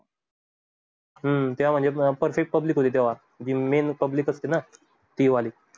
हम्म त्यामध्ये प्रत्येक public जी main public असते ना ती वाली.